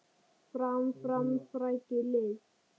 Fram, fram, frækið lið!